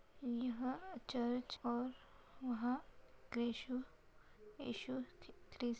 यहां चर्च और वहां येशु येशु करी--